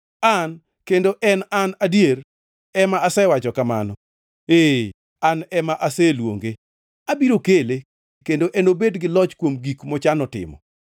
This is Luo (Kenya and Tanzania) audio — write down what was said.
An, kendo en An adier, ema asewacho kamano; ee, an ema aseluonge. Abiro kele, kendo enobed gi loch kuom gik mochano timo.